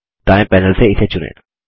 दायें पैनल से इसे चुनें